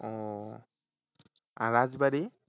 ও আর রাজবাড়ি?